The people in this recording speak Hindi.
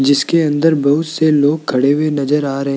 जिसके अंदर बहुत से लोग खड़े हुए नजर आ र--